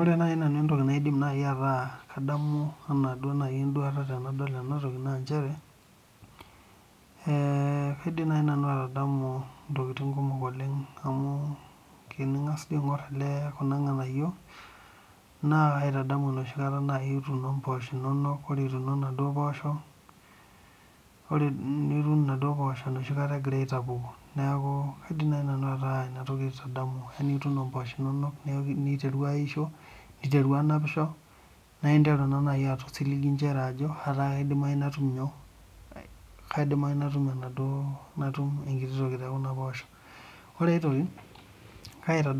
Ore naaji nanu entoki naidim ataa kadamu enaa enduata tenidol ena toki naa kaindim ataa kadamu ntokitin kumok amu tengas aing'or Kuna anayio naa kaitadamu enoshi kata etuno mboshok enono nitum enoshi kataa egira atapuki neeku kaidim naaji nanu ataa ena toki aitadamu eguno mboshok enono niteru ayisho niteru anapisho neeku enteru atum osiligi Ajo kidimayu natum enkiti toki te Kuna poshok ore enkae toki